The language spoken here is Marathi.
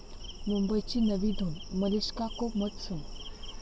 मुंबईची नवी धून, 'मलिष्का को मत सुन'!